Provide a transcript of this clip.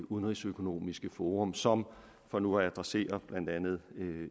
udenrigsøkonomiske forum som for nu at adressere blandt andet